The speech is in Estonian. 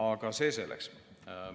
Aga see selleks.